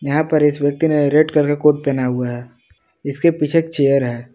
यहां पर इस व्यक्ति ने रेड कलर का कोट पहना हुआ है इसके पीछे एक चेयर है।